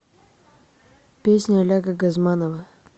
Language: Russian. песня олега газманова